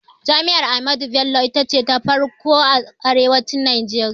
Jami'ar Ahmadu Bello ita ce ta farkon a arewacin Najeriya